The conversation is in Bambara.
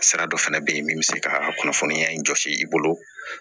Sira dɔ fɛnɛ be yen min be se ka kunnafoniya in jɔsi i bolo